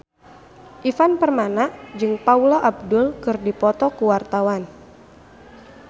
Ivan Permana jeung Paula Abdul keur dipoto ku wartawan